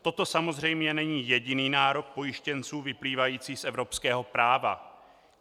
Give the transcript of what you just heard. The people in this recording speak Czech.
Toto samozřejmě není jediný nárok pojištěnců vyplývající z evropského práva.